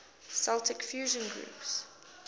celtic fusion groups